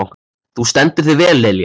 Þú stendur þig vel, Lilja!